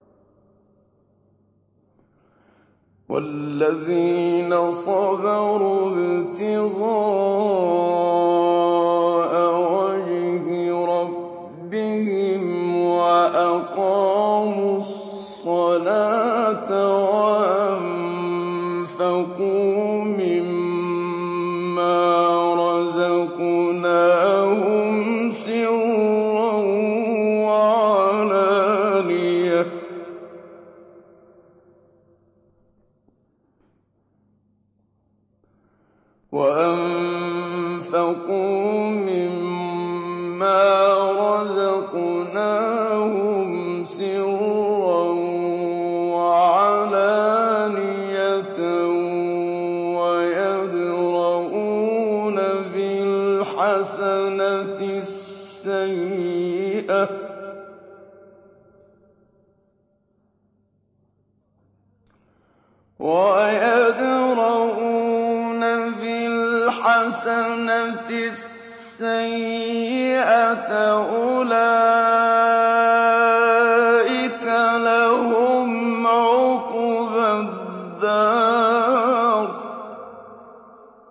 وَالَّذِينَ صَبَرُوا ابْتِغَاءَ وَجْهِ رَبِّهِمْ وَأَقَامُوا الصَّلَاةَ وَأَنفَقُوا مِمَّا رَزَقْنَاهُمْ سِرًّا وَعَلَانِيَةً وَيَدْرَءُونَ بِالْحَسَنَةِ السَّيِّئَةَ أُولَٰئِكَ لَهُمْ عُقْبَى الدَّارِ